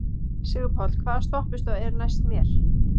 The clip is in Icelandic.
Sigurpáll, hvaða stoppistöð er næst mér?